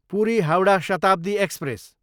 Puri, Howrah Shatabdi express